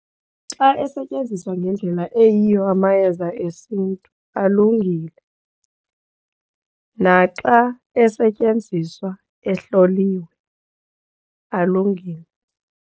Xa esetyenziswa ngendlela eyiyo amayeza esiNtu alungile naxa esetyenziswa ehloliwe alungile.